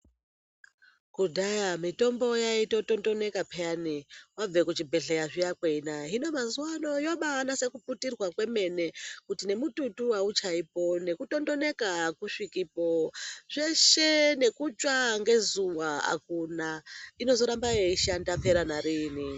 Kudhaya mutombo yaitotondoneka payani wabva kuchibhedheya zviya kweinaya hino mazuwa ano yobanase kuputirwa kwemene kuti nemututu auchaipo nekutondoneka akusvikipo zveshe nekutsva ngezuwa akuna inozoramba yeishanda kumhera nariini.